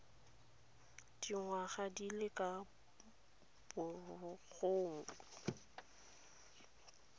dingwaga di le ka bogolo